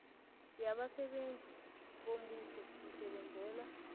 yabasebenzi bombuso isebenzela